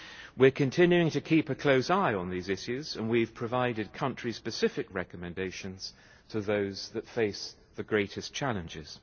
We continue to keep a close eye on these issues and we have provided country specific recommendations to those that face the greatest challenges.